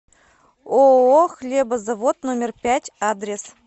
ооо хлебозавод номер пять адрес